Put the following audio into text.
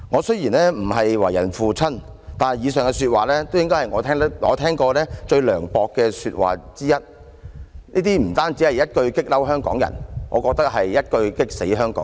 雖然我不是為人父親，但以上說話應該是我聽過最涼薄的說話之一了，不單會一句"激嬲"香港人，更會一句"激死"香港人。